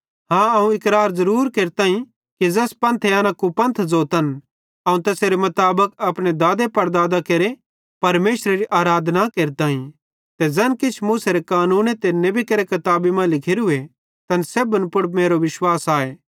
हाँ अवं इकरार ज़रूर केरताईं कि ज़ैस पंथे एना कुपंथ ज़ोतन अवं तैसेरे मुताबिक अपने दादेपड़दादां केरे परमेशरेरी आराधना केरताईं ते ज़ैन किछ मूसेरे कानूने ते नेबी केरि किताबी मां लिखोरूए तैन सेब्भन पुड़ मेरो विश्वास आए